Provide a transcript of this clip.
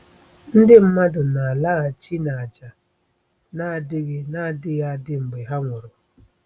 ndị mmadụ na-alaghachi n'ájá - na adịghị na adịghị adị - mgbe ha nwụrụ.